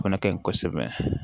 O fana ka ɲi kosɛbɛ